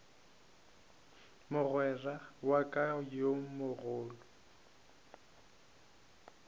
mogwera wa ka yo mogolo